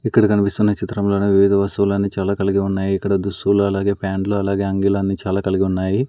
ఇక్కడ కన్పిస్తున్న చిత్రం లోని వివిధ వస్తువులన్నీ చాలా కలిగి ఉన్నాయి ఇక్కడ దుస్తువులు అలాగే ప్యాంట్లు అలాగే అంగీలన్నీ చాలా కలిగి ఉన్నాయి.